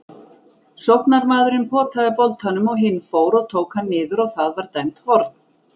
Sóknarmaðurinn potaði boltanum og hinn fór og tók hann niður og það var dæmt horn.